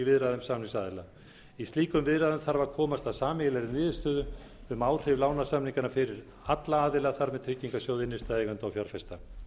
viðræðum samningsaðila í slíkum viðræðum þarf að komast að sameiginlegri niðurstöðu um áhrif lánasamningana fyrir alla aðila þar með talin tryggingarsjóð innstæðueigenda og fjárfesta